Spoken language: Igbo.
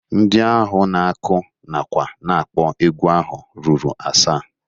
Ndị ahụ na-akụ nakwa na-akpọ egwu ahụ ruru asaa.